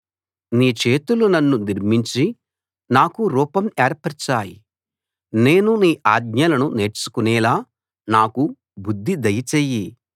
నీ చేతులు నన్ను నిర్మించి నాకు రూపం ఏర్పరచాయి నేను నీ ఆజ్ఞలను నేర్చుకునేలా నాకు బుద్ధి దయ చెయ్యి